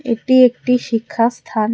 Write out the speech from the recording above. এটি একটি শিক্ষা স্থান।